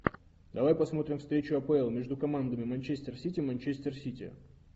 давай посмотрим встречу апл между командами манчестер сити манчестер сити